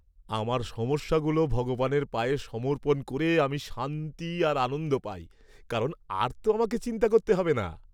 আমার সমস্যাগুলো ভগবানের পায়ে সমর্পণ করে আমি শান্তি আর আনন্দ পাই, কারণ আর তো আমাকে চিন্তা করতে হবে না।